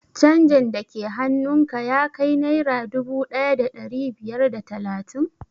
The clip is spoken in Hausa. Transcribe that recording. Canjin da ke hannun ka ya kai naira dubu ɗaya da ɗari biyar da talatin?